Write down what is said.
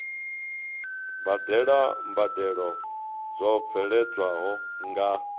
badela mbadelo dzo bveledzwaho nga